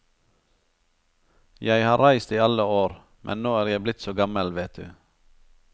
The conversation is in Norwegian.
Jeg har reist i alle år, men nå er jeg blir så gammel vet du.